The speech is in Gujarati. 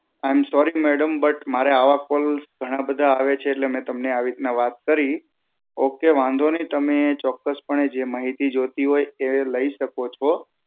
I am sorry, madam but મારે આવા calls ઘણા બધા આવે છે એટલે મેં તમને આવી રીતના વાત કરી. ઓકે વાંધો નહિ તમે ચોક્કસપણે જે માહિતી જોઈતી હોય એ લઇ શકો છો